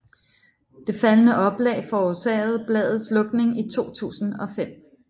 Det faldende oplag forårsagede bladets lukning i 2005